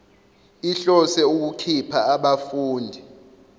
ihlose ukukhipha abafundi